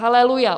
Aleluja.